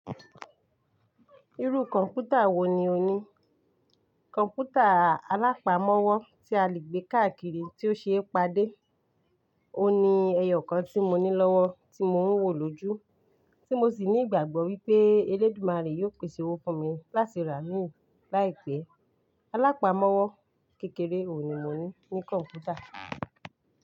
Irú kọ̀ǹpútà wo ni o ní? Kọ̀ǹpútà alápamọ́wọ́ tí a lè gbé káàkiri tí ó ṣe é padé. Ó ní ẹyọ kan tí mo ní lọ́wọ́ tí mo ń wò lójú, tí mo sì ní ìgbàgbọ́ wípé Elédùmarè yóò pèsè owó fún mi láti rà mi láìpẹ́. Alápamọ́wọ́ kékeré òní mo ní ní kọ̀ǹpúta.